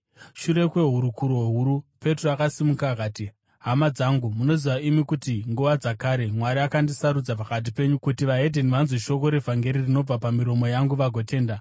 Shure kwehurukuro huru, Petro akasimuka akati, “Hama dzangu, munoziva imi kuti nguva dzakare Mwari akandisarudza pakati penyu kuti veDzimwe Ndudzi vanzwe shoko revhangeri rinobva pamiromo yangu vagotenda.